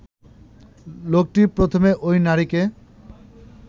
লোকটি প্রথমে ঐ নারীকে